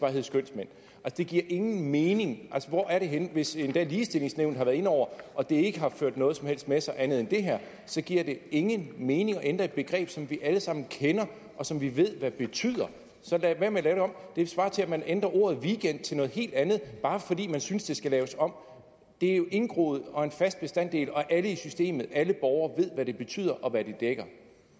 hedde skønsmænd det giver ingen mening hvor er vi henne hvis endda ligestillingsnævnet har været inde over og det ikke har ført noget som helst andet med sig andet end det her så giver det ingen mening at ændre et begreb som vi alle sammen kender og som vi ved hvad betyder så lad være med at lave det om det svarer til at man ændrer ordet weekend til noget helt andet bare fordi man synes det skal laves om det er jo indgroet og en fast bestanddel og alle i systemet alle borgere ved hvad det betyder og hvad det dækker